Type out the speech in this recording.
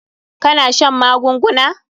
Ka na shan magunguna?